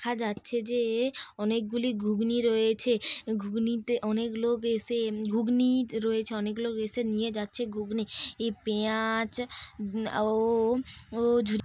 দেখা যাচ্ছে যে অনেক গুলি ঘুগনি রয়েছে। ঘুগনিতে অনেক লোক এসে এ ঘুগনি ত রয়েছে অনেক লোক এসে নিয়ে যাচ্ছে ঘুগনি। এই পেঁয়াজ উব ও ও ঝু--